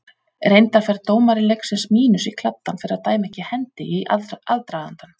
Reyndar fær dómari leiksins mínus í kladdann fyrir að dæma ekki hendi í aðdragandanum.